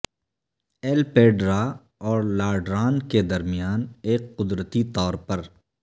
L پیڈرا اور لاڈران کے درمیان ایک قدرتی طور پر